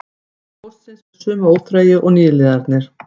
Ég beið komu póstsins með sömu óþreyju og nýliðarnir